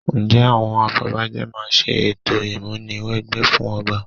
Ǹjẹ́ àwọn afọbajẹ máa ṣe ètò ìmúni wẹgbẹ́ fún ọba?